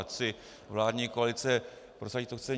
Ať si vládní koalice prosadí, co chce.